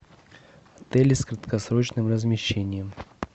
отели с краткосрочным размещением